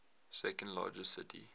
second largest city